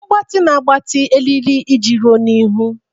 Mgbatị na-agbatị eriri iji ruo n'ihu.